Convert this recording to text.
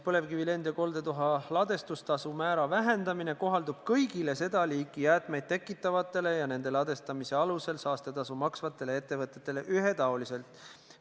Põlevkivi lend- ja koldetuha ladestamise tasu määra vähendamine kohaldub kõigile seda liiki jäätmeid tekitavatele ja nende ladestamise alusel saastetasu maksvatele ettevõtetele ühetaoliselt.